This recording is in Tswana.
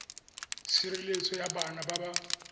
tshireletso ya bana ba ba